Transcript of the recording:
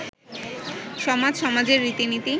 সমাজ, সমাজের রীতি নীতি